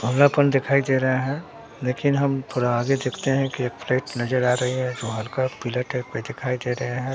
दिखाई दे रहा है लेकिन हम थोड़ा आगे देखते हैं कि फ्लैट नजर आ रही है जो हल्का पीला टाइप दिखाई दे रहे हैं।